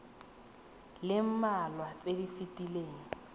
le mmalwa tse di fetileng